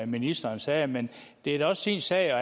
ministeren sagde men det er da også sin sag